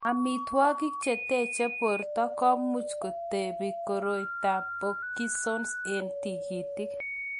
Amitwogik che teche borto komuch kotebe koroitoab Parkinsons eng' tikitik.